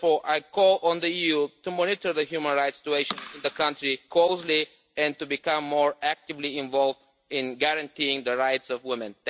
Therefore I call on the EU to monitor the human rights situation in the country closely and to become more actively involved in guaranteeing the rights of women.